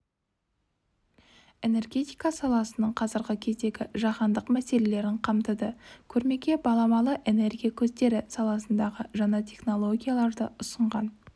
энергетика саласының қазіргі кездегі жаһандық мәселелерін қамтыды көрмеге баламалы энергия көздері саласындағы жаңа технологияларды ұсынған